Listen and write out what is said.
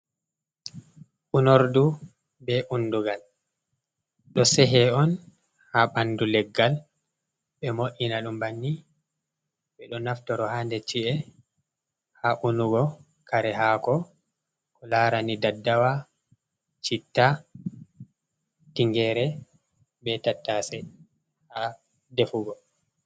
Unordu be undugal do sehe on ha bandu leggal, be mo’ina dum banni be do naftoro hande chi’e ha unugo kare hako ko larani daddawa chitta tingere be tatase ha defugo.